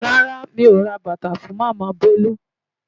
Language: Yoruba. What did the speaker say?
Rárá mi ò ra bàtà fún Màmá Bolu.